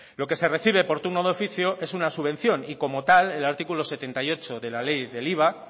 lo que se recibe por turno de oficio es una subvención y como tal el artículo setenta y ocho de la ley del iva